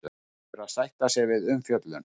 Verður að sætta sig við umfjöllun